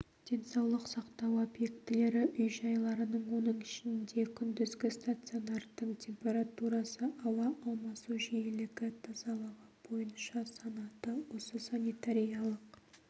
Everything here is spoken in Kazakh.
денсаулық сақтау объектілері үй-жайларының оның ішінде күндізгі стационардың температурасы ауа алмасу жиілігі тазалығы бойынша санаты осы санитариялық